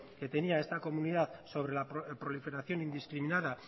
que tenía esta comunidad sobre la proliferación indiscriminada